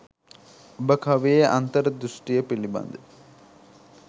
ඔබ කවියේ අන්තර් දෘෂ්ටිය පිළිබඳ